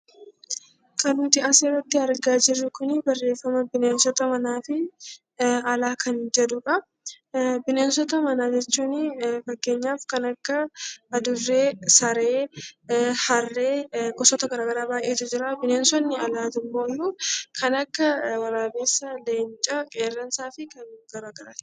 Barreeffaamni nuti as irratti argaa jirru Kun bineensota manaa fi alaa kan jedhuudha. Bineensota manaa jechuun fakkeenyaaf kanneen akka Saree, Adureee Harree fi gosoota garaa garaa baayyeetu jira. Bineensoti alaa immoo kanneen akka Waraabessaa, Leencaa, Qeerransaa fi kan kana fakkaataniidha.